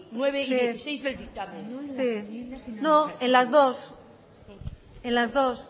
nueve y dieciséis del dictamen sí sí sí no en las dos en las dos